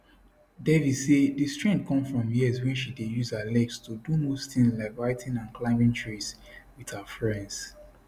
devi say di strength come from years wey she dey use her legs to do most tins like writing and climbing trees wit her friends